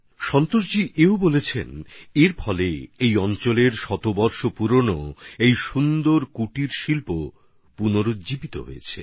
সন্তোষজি এটাও জানিয়েছেন যে এর ফলে এই অঞ্চলের অনেক পুরনো অসাধারণ শিল্পটিও নতুন প্রাণ পেয়েছে